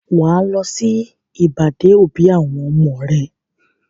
Wà á lọ sí ìbàdé-òbí àwọn ọmọ rẹ.